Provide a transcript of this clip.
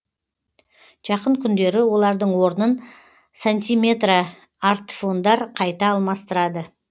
жақын күндері олардың орнын сантиметрартфондар қайта алмастырады